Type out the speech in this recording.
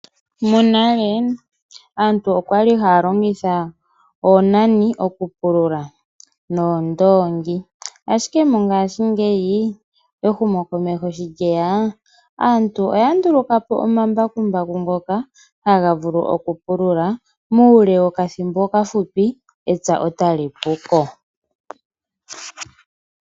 Monale aantu oyali haya longitha oonani okupulula noondoongi, ashike mongashingeyi ehumokomeho sho ndjeya, aantu oya nduluka po omambakumbaku ngoka haga vulu okupulula uule wokathimbo okafupi. Epya etali puko.